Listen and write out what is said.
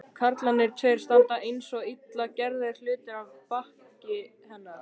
Karlarnir tveir standa einsog illa gerðir hlutir að baki hennar.